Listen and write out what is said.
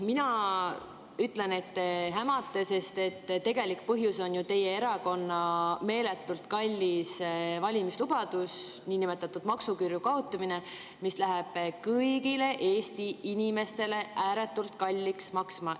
Mina ütlen, et te hämate, sest tegelik põhjus on ju teie erakonna meeletult kallis valimislubadus, niinimetatud maksuküüru kaotamine, mis läheb kõigile Eesti inimestele ääretult kalliks maksma.